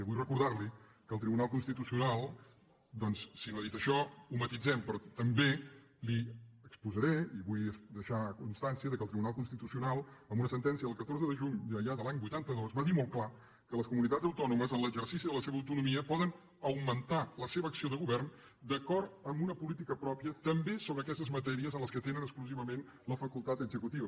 vull recordarli que el tribunal constitucional doncs si no ha dit això ho matisem però també li exposaré li vull deixar constància que el tribunal constitucional amb una sentència del catorze de juny ja de l’any vuitanta dos va dir molt clar que les comunitats autònomes en l’exercici de la seva autonomia poden augmentar la seva acció de govern d’acord amb una política pròpia també sobre aquestes matèries en què tenen exclusivament la facultat executiva